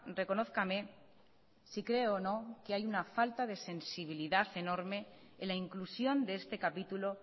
reconózcame si cree o no que hay una falta de sensibilidad enorme en la inclusión de este capítulo